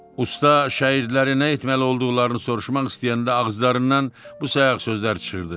Usta şagirdlərinə nə etməli olduqlarını soruşmaq istəyəndə ağızlarından bu sayaq sözlər çıxırdı.